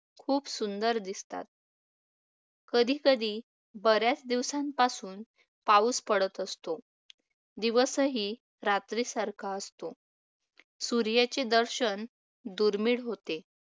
खूप सुंदर दिसतात. कधीकधी बर्‍याच दिवसांपासून पाऊस पडत असतो. दिवसही रात्रीसारखा असतो. सूर्याचे दर्शन दुर्मिळ होते.